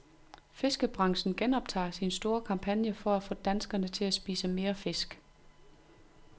Fiskebranchen genoptager sin store kampagne for at få danskerne til at spise mere fisk.